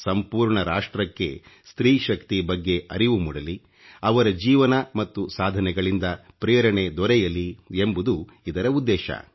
ಸಂಪೂರ್ಣ ರಾಷ್ಟ್ರಕ್ಕೆ ಸ್ತ್ರೀ ಶಕ್ತಿ ಬಗ್ಗೆ ಅರಿವು ಮೂಡಲಿ ಅವರ ಜೀವನ ಮತ್ತು ಸಾಧನೆಗಳಿಂದ ಪ್ರೇರಣೆ ದೊರೆಯಲಿ ಎಂಬುದು ಇದರ ಉದ್ದೇಶ